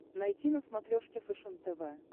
найти на смотрешке фэшен тв